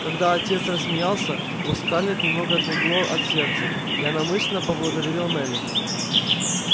когда отец рассмеялся у скарлетт немного отлегло от сердца и она мысленно поблагодарила мелли